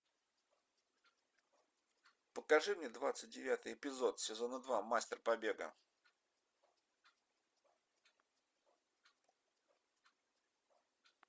покажи мне двадцать девятый эпизод сезона два мастер побега